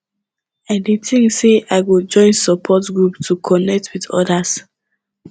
i dey think sey i go join support group to connect with others